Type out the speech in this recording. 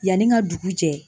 Yanni ka dugu jɛ